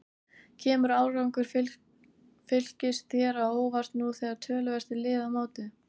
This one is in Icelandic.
Kemur árangur Fylkis þér á óvart nú þegar töluvert er liðið á mótið?